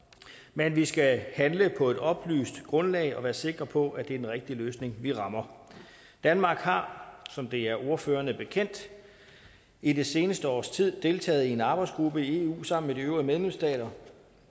men vi skal handle på et oplyst grundlag og være sikre på at det er den rigtige løsning vi rammer danmark har som det er ordførerne bekendt i det seneste års tid deltaget i en arbejdsgruppe i eu sammen med de øvrige medlemsstater